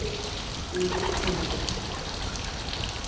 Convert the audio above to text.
Kvíðið engu!